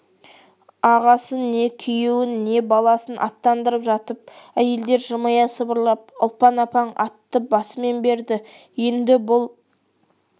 ағасын не күйеуін не баласын аттандырып жатып әйелдер жымия сыбырлап ұлпан апаң атты басымен берді енді бұл